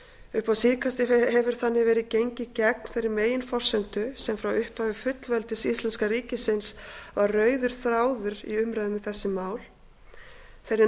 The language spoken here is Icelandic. upp á síðkastið hefur þannig verið gengið gegn þeirri meginforsendu sem frá upphafi fullveldis íslenska ríkisins var rauður þráður í umræðum um þessi mál þeirri